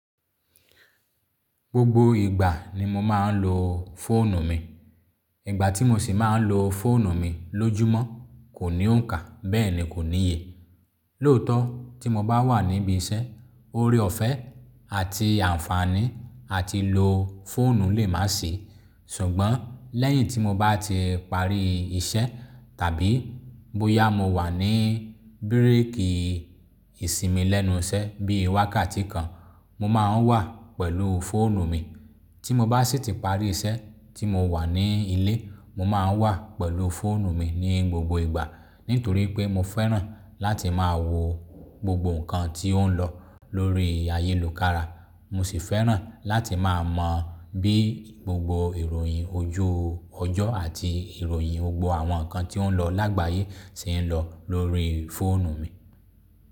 Gbogbo ìgbà ni mo máa ń lo fóònù mi. Ìgbà tí mo sì máa ń lo fóònù mi lójúmọ́ kò ní òǹkà, bẹ́ẹ̀ ni kò níye. Lóòtọ́, tí mo bá wà níbí iṣẹ́, oore ọ̀fẹ́ àti ànfàní àti lo fóònù lè má sìi. Ṣùgbọ́n lẹ́yìn tí mo bá ti parí iṣẹ́ tàbí bóyá mo wà ní bírèèkì ìsinmi lẹ́nu iṣẹ́ bí i wákàtí kan, mo máa ń wà pẹ̀lú fóònù mi. Tí mo bá sì ti parí iṣẹ́ tí mo wà ní ilé, mo máa ń wà pẹ̀lú fóònù mi ní gbogbo ìgbà nítorí pé mo fẹ́ràn láti máa wo gbogbo nǹkan tí ó ń lọ lórí ayélukàrà. Mo sì fẹ́ràn láti máa mọ bí gbogbo ìròyìn ojú ọjọ́ àti ìròyìn gbogbo àwọn nǹkan tí ó ń lọ lágbàyé ti ń lọ lórí fóònù mi.